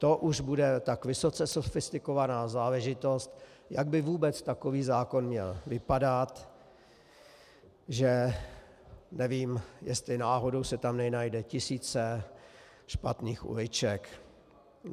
To už bude tak vysoce sofistikovaná záležitost, jak by vůbec takový zákon měl vypadat, že nevím, jestli náhodou se tam nenajdou tisíce špatných uliček.